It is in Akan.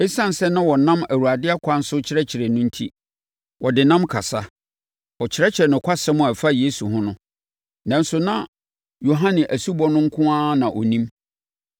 Esiane sɛ na wɔnam Awurade ɛkwan so akyerɛkyerɛ no enti, na ɔde nnam kasa, kyerɛkyerɛ nokwasɛm a ɛfa Yesu ho no. Nanso na Yohane asubɔ no nko ara na ɔnim.